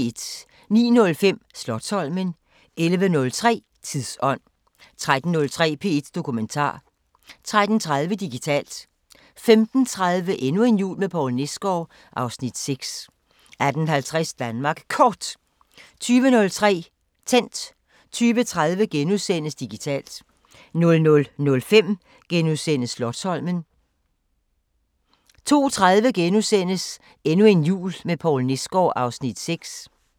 09:05: Slotsholmen 11:03: Tidsånd 13:03: P1 Dokumentar 13:30: Digitalt 15:30: Endnu en jul med Poul Nesgaard (Afs. 6) 18:50: Danmark Kort 20:03: Tændt 20:30: Digitalt * 00:05: Slotsholmen * 02:30: Endnu en jul med Poul Nesgaard (Afs. 6)*